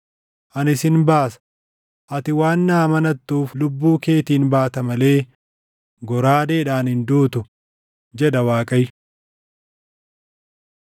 Ani sin baasa; ati waan na amanattuuf lubbuu keetiin baata malee goraadeedhaan hin duutu, jedha Waaqayyo.’ ”